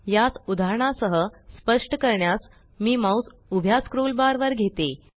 यास उदाहरणासह स्पष्ट करण्यास मी माउस उभ्या स्क्रोल बार वर घेते